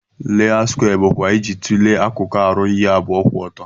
layout skwee bu ma iji tule akuku aru ihe abụọ kwụ ọtọ.